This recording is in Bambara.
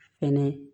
Fɛnɛ